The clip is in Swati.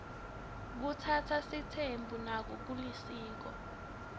kutsatsa sitsembu nako kulisiko